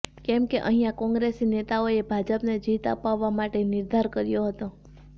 કેમ કે અહીંયા કોંગ્રેસી નેતાઓએ ભાજપને જીત અપાવવા માટેનો નિર્ધાર કર્યો હતો